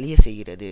அழிய செய்கிறது